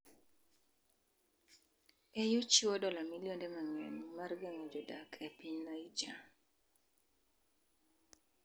EU chiwo dola milionde mang'eny mar geng'o jodak e piny Niger